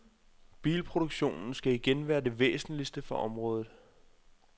Bilproduktionen skal igen være det væsentligste for området.